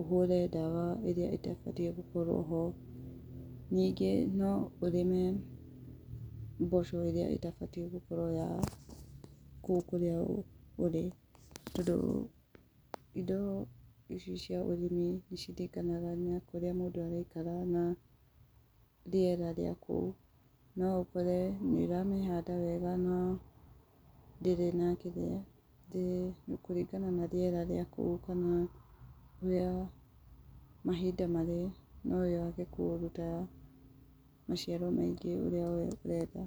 ũhũre ndawa ĩrĩa ĩtabatiĩ gũkorwo ho. Ningĩ no ũrĩme mboco ĩrĩa ĩtabatiĩ gũkorwo ya kũrĩa ũrĩ, tondũ indo ici cia ũrĩmi nĩ ciringanaga na kũrĩa mũndũ arĩ, na rĩera rĩa kũu. No ũkore nĩ ũramĩhanda wega na ndĩrĩ na kĩrĩa, kũringana na rĩera rĩa kũu ũkona, rĩa mahinda marĩa, no yage kũruta maciaro maingĩ ũrĩa we ũrenda.